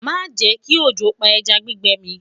má jè kí ọjọ pá ẹja gbígbẹ mi